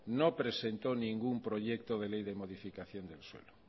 no presentó ningún proyecto de ley de modificación del suelo